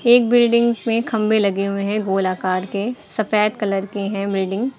एक बिल्डिंग में खंभे लगे हुए हैं गोल आकार के सफेद कलर के हैं बिल्डिंग ।